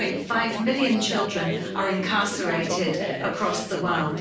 1.5 million children are incarcerated across the world.